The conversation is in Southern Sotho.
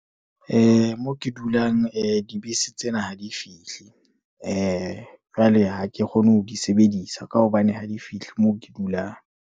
Moo ke dulang, dibese tsena ha di fihle, jwale ha ke kgone ho di sebedisa, ka hobane ha di fihle moo ke dulang.